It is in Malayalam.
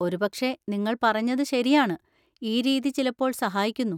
ഒരുപക്ഷേ നിങ്ങൾ പറഞ്ഞത് ശരിയാണ്, ഈ രീതി ചിലപ്പോൾ സഹായിക്കുന്നു.